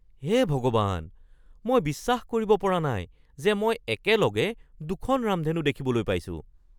হে ভগৱান, মই বিশ্বাস কৰিব পৰা নাই যে মই একেলগে দুখন ৰামধেনু দেখিবলৈ পাইছোঁ!